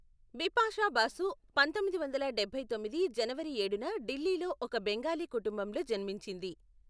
బిపాషా బాసు పంతొమ్మిది వందల డబ్బై తొమ్మిది జనవరి ఏడున ఢిల్లీలో ఒక బెంగాలీ కుటుంబంలో జన్మించింది.